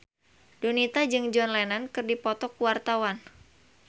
Donita jeung John Lennon keur dipoto ku wartawan